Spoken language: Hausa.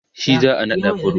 shi za'a naɗa pro